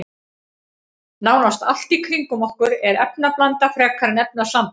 Nánast allt í kringum okkur er efnablanda frekar en efnasamband.